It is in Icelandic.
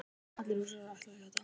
Allir Rússarnir ætla að játa